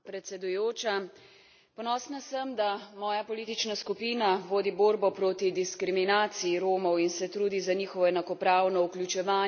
Ponosna sem, da moja politična skupina vodi borbo proti diskriminaciji Romov in se trudi za njihovo enakopravno vključevanje v evropsko družbo.